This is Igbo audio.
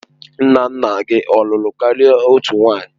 Nna nna gị ọ lụrụ karịa otu nwanyị?